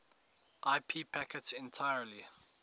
ip packets entirely